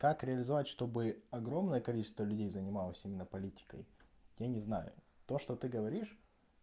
как реализовать чтобы огромное количество людей занималось именно политикой я не знаю то что ты говоришь